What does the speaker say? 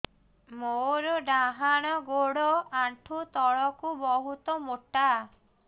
ମୋର ଡାହାଣ ଗୋଡ ଆଣ୍ଠୁ ତଳୁକୁ ବହୁତ ମୋଟା